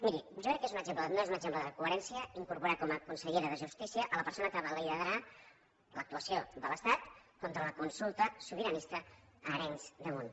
miri jo crec que no és un exemple de coherència incorporar com a consellera de justícia la persona que va liderar l’actuació de l’estat contra la consulta sobiranista a arenys de munt